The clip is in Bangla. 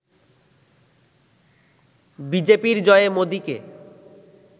বিজেপির জয়ে মোদিকে